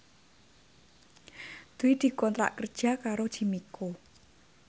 Dwi dikontrak kerja karo Jimmy Coo